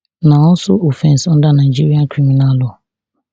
na also offence under nigeria criminal law